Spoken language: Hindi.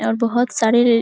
और बहुत सारे --